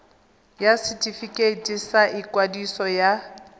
ya setefikeiti sa ikwadiso ya